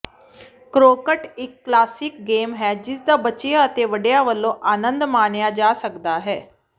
croquet ਇਕ classic game ਹੈ ਜਿਸਦਾ ਬੱਚਿਆਂ ਅਤੇ ਵੱਡਿਆਂ ਵੱਲੋਂ ਆਨੰਦ ਮਾਣਿਆ ਜਾ ਸਕਦਾ ਹੈ